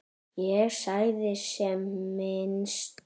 Ég sagði sem minnst.